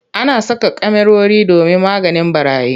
Ana saka kyamarori domin maganin ɓarayi.